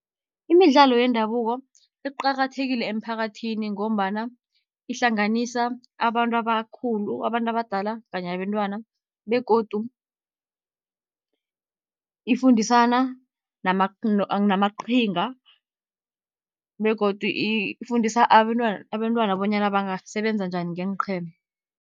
Imidlalo yendabuko iqakathekile emphakathini, ngombana ihlanganisa abantu abakhulu abantu abadala kanye nabentwana. Begodu ifundisana namaqhinga begodu ifundisa abentwana bonyana bangasebenza njani ngeenqhema.